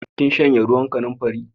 Kin shanye ruwan kanamfari?